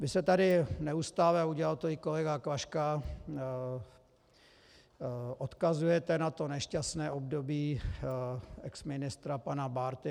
Vy se tady neustále, a udělal to i kolega Klaška, odkazujete na to nešťastné období exministra pana Bárty.